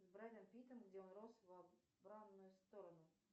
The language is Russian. с брэдом питтом где он рос в обратную сторону